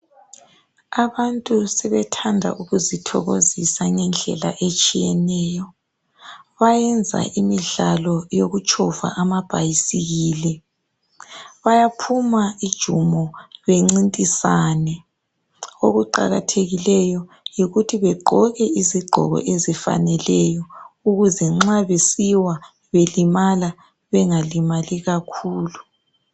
Abantu sebethanda ukuzithokozisa ngendlela etshiyeneyo bayenza imidlalo yokutshova amabhayisikili bayaphuma ujumo bencintisane okuqakathekileyo yikut bagqoke izigqoko ezifaneleyo ukuze nxa besiwa belimala bengalimali kakhulu